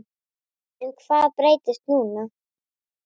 En hvað breytist núna?